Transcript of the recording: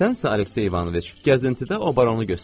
Sənsə, Aleksey İvanoviç, gəzintidə o baronu göstər.